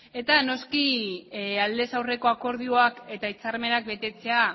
eta noski aldez aurreko akordioak eta hitzarmenak betetzea